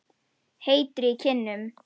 Heitur í kinnum.